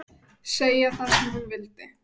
Segja það sem hún vildi.